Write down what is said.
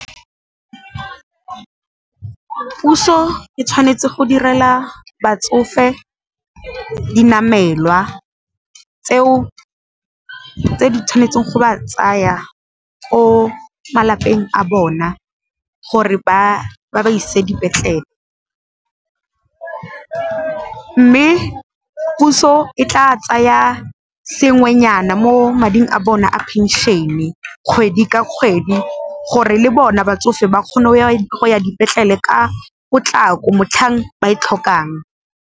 Puso e tshwanetse go direla batsofe di namelwa tseo tse di tshwanetseng go ba tsaya ko malapeng a bona gore ba ba ise dipetlele. Mme puso e tla tsaya sengwenyana mo mading a bone a phenšene kgwedi ka kgwedi gore le bona batsofe ba kgone go ya dipetlele ka potlako motlhang ba e tlhokang.